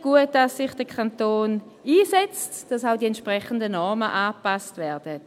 Gut, dass sich der Kanton einsetzt, dass auch die entsprechenden Normen angepasst werden.